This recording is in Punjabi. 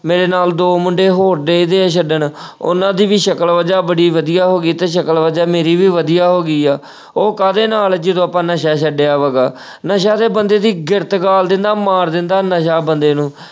ਮੇਰੇ ਨਾਲ ਦੋ ਮੁੰਡੇ ਹੋਰ ਡਏ ਵਏ ਛੱਡਣ ਅਹ ਉਹਨਾਂ ਦੀ ਵੀ ਸ਼ਕਲ ਵਜਾ ਬੜੀ ਵਧੀਆ ਹੋ ਗਈ ਤੇ ਸ਼ਕਲ ਵਜਾ ਮੇਰੀ ਵੀ ਵਧੀਆ ਹੋ ਗਈ ਐ ਅਹ ਉਹ ਕਾਹਦੇ ਨਾਲ ਜਦੋਂ ਆਪਾਂ ਨਸ਼ਾ ਛੱਡਿਆ ਵਾ ਗਾ ਨਸ਼ਾ ਤੇ ਬੰਦੇ ਦੀ ਗਿਰਤ ਗਾਲ ਦਿੰਦਾ, ਮਾਰ ਦਿੰਦਾ ਨਸ਼ਾ ਬੰਦੇ ਨੂੰ।